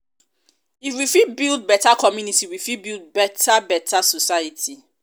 if we fit build beta community we fit build beta beta society.